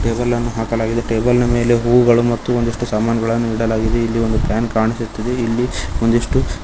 ಟೇಬಲನ್ನು ಹಾಕಲಾಗಿದೆ ಟೇಬಲ್ ನ ಮೇಲೆ ಹೂಗಳು ಮತ್ತು ಒಂದಿಷ್ಟು ಸಾಮಾನುಗಳನ್ನು ಇಡಲಾಗಿದೆ ಇಲ್ಲಿ ಒಂದು ಪ್ಯಾನ್ ಕಾಣಿಸುತ್ತಿದೆ ಇಲ್ಲಿ ಒಂದಿಷ್ಟು--